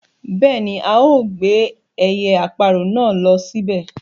Bẹ́ẹ̀ni ao gbé ẹyẹ-aparọ̀ náà ló síbẹ̀